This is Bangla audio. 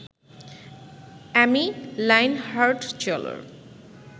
অ্যামি লাইন হার্টজলার